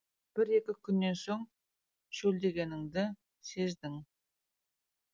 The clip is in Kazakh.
бір екі күннен соң шөлдегеніңді сездің